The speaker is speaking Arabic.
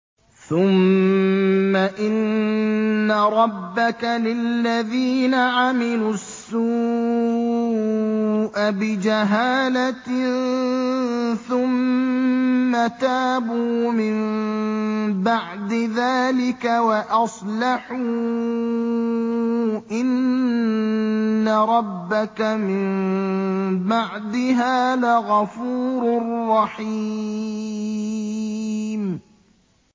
ثُمَّ إِنَّ رَبَّكَ لِلَّذِينَ عَمِلُوا السُّوءَ بِجَهَالَةٍ ثُمَّ تَابُوا مِن بَعْدِ ذَٰلِكَ وَأَصْلَحُوا إِنَّ رَبَّكَ مِن بَعْدِهَا لَغَفُورٌ رَّحِيمٌ